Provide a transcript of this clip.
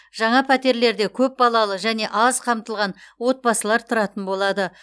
жаңа пәтерлерде көп балалы және аз қамтылған отбасылар тұратын болады